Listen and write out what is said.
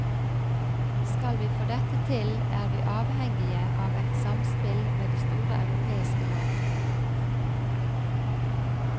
Skal vi få dette til, er vi avhengige av et samspill med de store europeiske land.